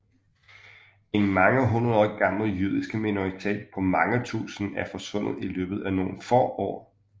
En mange hundredår gammel jødisk minoritet på mange tusinde er forsvundet i løbet af nogle få år